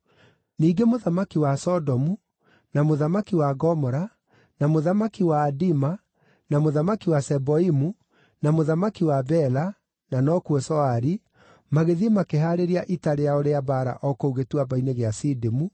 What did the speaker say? Ningĩ mũthamaki wa Sodomu, na mũthamaki wa Gomora, na mũthamaki wa Adima, na mũthamaki wa Zeboimu, na mũthamaki wa Bela (na nokuo Zoari) magĩthiĩ makĩhaarĩria ita rĩao rĩa mbaara o kũu Gĩtuamba-inĩ gĩa Sidimu,